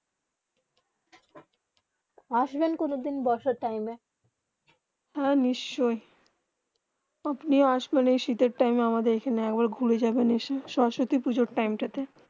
আসবেন কোনো দিন বর্ষা টাইম হেঁ নিশ্চয়ই আপনি আসবেন এই শীতে টাইম আখ্যানে এক বার ঘুরে জাবেন সরস্বতী পুজো টাইম তা তে